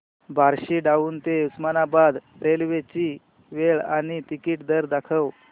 Barshi town ते Osmanabad railway ची वेळ आणि तिकीट दर दाखव